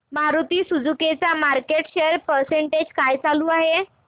Maruti Suzuki चा market share percentage काय चालू आहे